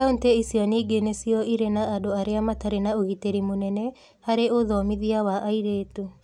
Kaunti icio ningĩ nĩcio irĩ na andũ arĩa matarĩ na ũgitĩri mũnene harĩ ũthomithia wa airĩtu.